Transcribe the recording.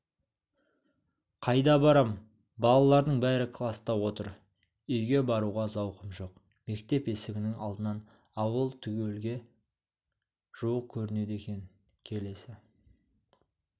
қайда барам балалардың бәрі класта отыр үйге баруға зауқым жоқ мектеп есігінің алдынан ауыл түгелге жуық көрінеді екен келесі